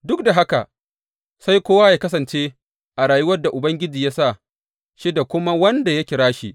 Duk da haka, sai kowa yă kasance a rayuwar da Ubangiji ya sa shi da kuma wanda Allah ya kira shi.